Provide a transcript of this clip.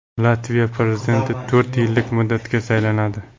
Latviya prezidenti to‘rt yillik muddatga saylanadi.